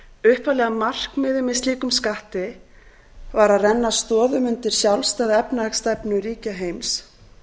upphaflega markmiðið með slíkum skatti var að renna stoðum undir sjálfstæða efnahagsstefnu ríkja heims